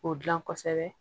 O dilan kosɛbɛ